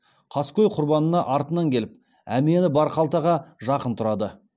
қаскөй құрбанына артынан келіп әмияны бар қалтаға жақын тұрады